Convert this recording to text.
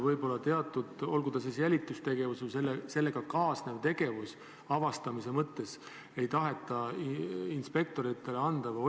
Miks ei taheta teatud jälitustegevust või sellega kaasnevat tegevust – pean silmas avastamist – inspektoritele anda?